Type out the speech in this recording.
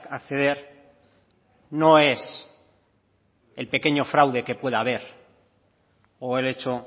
acceder no es el pequeño fraude que pueda haber o el hecho